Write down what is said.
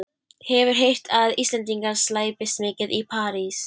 Hefur heyrt að Íslendingar slæpist mikið í París.